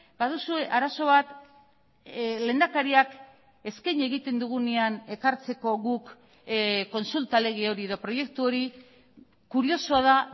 baduzue arazo bat lehendakariak eskaini egiten dugunean ekartzeko guk kontsulta lege hori edo proiektu hori kuriosoa da